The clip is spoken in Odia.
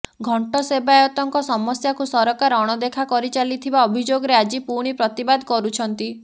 ଘଣ୍ଟ ସେବାୟତଙ୍କ ସମସ୍ୟାକୁ ସରକାର ଅଣଦେଖା କରିଚାଲିଥିବା ଅଭିଯୋଗରେ ଆଜି ପୁଣି ପ୍ରତିବାଦ କରିଛନ୍ତି